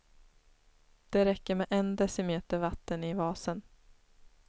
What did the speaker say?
Det räcker med en decimeter vatten i vasen.